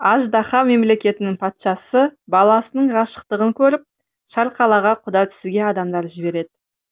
аждаһа мемлекетінің патшасы баласының ғашықтығын көріп шарқалаға құда түсуге адамдар жіберет